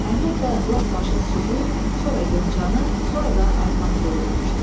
Əhməd də lap başa südü, sonra yoncanı, sonra da arpanı qoydurmuşdu.